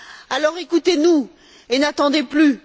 Alors, écoutez nous et n'attendez plus